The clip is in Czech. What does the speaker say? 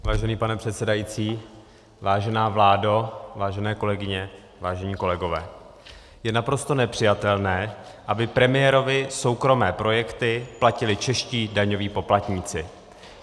Vážený pane předsedající, vážená vládo, vážené kolegyně, vážení kolegové, je naprosto nepřijatelné, aby premiérovy soukromé projekty platili čeští daňoví poplatníci.